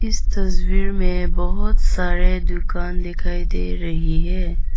इस तस्वीर मे बहोत सारे दुकान दिखाई दे रही है।